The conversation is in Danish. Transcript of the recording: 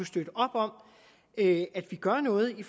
støtte op om at vi gør noget i